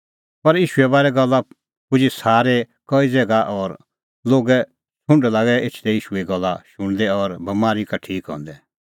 पर ईशूए बारै गल्ला पुजी सारै दी कई ज़ैगा और लोगे छ़ुंड लागै एछदै ईशूए गल्ला शुणदै और बमारी का ठीक हंदै